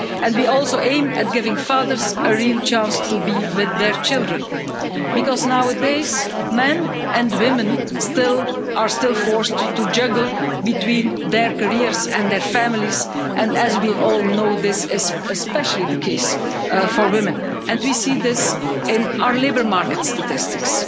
We also aim at giving fathers a real chance to be with their children, because nowadays men and women are still forced to juggle their careers and their families, and as we all know this is especially the case for women. We see this in our labour market statistics